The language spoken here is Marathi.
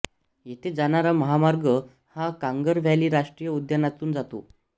येथे जाणारा महामार्ग हा कांगर व्हॅली राष्ट्रीय उद्यानातून जातो